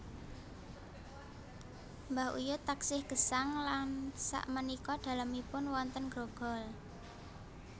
Mbah uyut taksih gesang lan sak menika dalemipun wonten Grogol